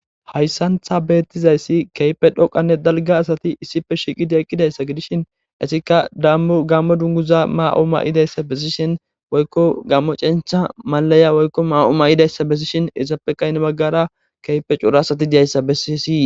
hayssantha beettizayssi keype dhoqanne dalga asati issipe shiiqidi eqqidayssa gidishin esikka dammu gammo dunguza ma7o ma7idayssa bessishin woykko gammo cenctha malaya woykko ma7o ma7idayssa bessishin isappekayine baggara keype cura asati deyayssa bessi esii